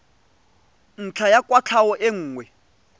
ntlha ya kwatlhao e nngwe